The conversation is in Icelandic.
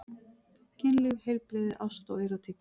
Kynlíf, heilbrigði, ást og erótík.